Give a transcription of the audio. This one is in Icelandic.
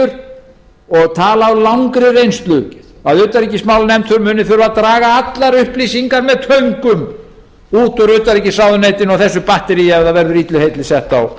miður og tala af langri reynslu að utanríkismálanefnd muni þurfa að draga allar upplýsingar með töngum út úr utanríkisráðuneytinu og þessu batteríi ef það verður illu heilli sett á